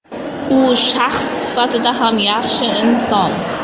U shaxs sifatida ham yaxshi inson.